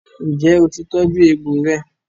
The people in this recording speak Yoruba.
ǹjẹ́ ó ti tọ́jú egbò rẹ?